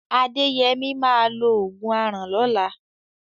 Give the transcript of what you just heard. Adéyẹmí máa lo ògùn aràn lọ́la.